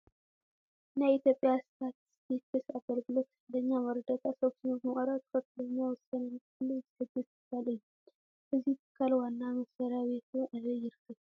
ናይ ኢትዮጵያ ስታትስቲክስ ኣገልግሎት ትክክለኛ መረዳእታ ሰብሲቡ ብምቕራብ ትኽኽለኛ ወሳነ ንክህሉ ዝሕግዝ ትካል እዩ፡፡ እዚ ትካል ዋና መስርያ ቤቱ ኣበይ ይርከብ